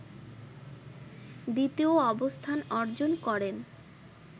দ্বিতীয় অবস্থান অর্জন করেন